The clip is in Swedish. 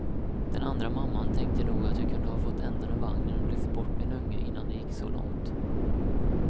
Den andra mamman tänkte nog att jag kunde ha fått ändan ur vagnen och lyft bort min unge innan det gick så långt.